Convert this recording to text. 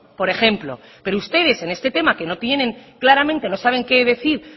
por ejemplo pero ustedes en este tema que no tienen claramente no saben qué decir